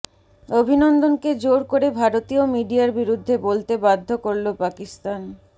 অভিনন্দনকে জোর করে ভারতীয় মিডিয়ার বিরুদ্ধে বলতে বাধ্য করল পাকিস্তান